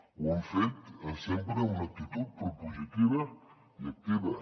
ho hem fet sempre amb una actitud propositiva i activa